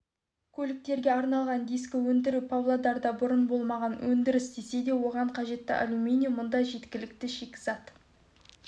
көліктерге арналған дискі өндіру павлодарда бұрын болмаған өндіріс десе де оған қажетті алюминий мұнда жеткілікті шикізат